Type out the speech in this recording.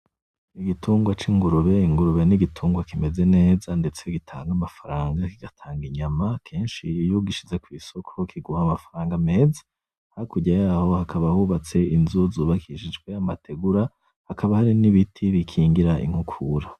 Igitungwa c'ingurube, ingurube ni igitungwa kimeze neza ndetse gitanga amafaranga kigatanga inyama akenshi iyo ugishize kwisoko kiguha amafaranga meza hakurya yaho hakaba hubatse inzu zubakishijwe amategura hakaba hari n'ibiti bikingira inkukura.